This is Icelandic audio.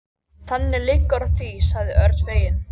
Þannig liggur þá í því sagði Örn feginn.